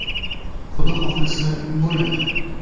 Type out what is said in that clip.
- Xudo xohlasa, bo‘ladi.